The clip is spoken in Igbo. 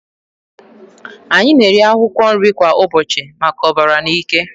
Anyị na-eri akwụkwọ nri kwa ụbọchị maka ọbara na ike.